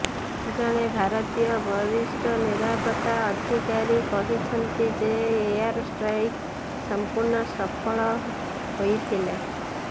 ଜଣେ ଭାରତୀୟ ବରିଷ୍ଠ ନିରପତ୍ତା ଅଧିକାରୀ କହିଛନ୍ତି ଯେ ଏୟାର ଷ୍ଟ୍ରାଇକ୍ ସଂପୂର୍ଣ୍ଣ ସଫଳ ହୋଇଥିଲା